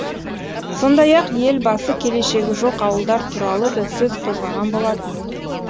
сондай ақ елбасы келешегі жоқ ауылдар туралы да сөз қозғаған болатын